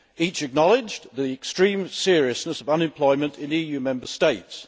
Each acknowledged the extreme seriousness of unemployment in EU Member States.